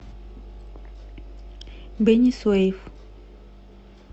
бени суэйф